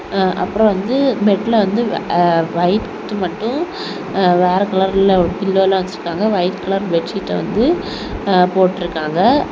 ஆ அப்புறம் வந்து பெட்ல வந்து வைட் மட்டும் அ வேற கலர்ல பில்லோ எல்லாம் வச்சிருக்காங்க ஒயிட் கலர் பெட்ஷீட் வந்து போட்டு இருக்காங்க.